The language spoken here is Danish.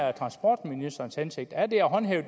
er transportministerens hensigt er det at håndhæve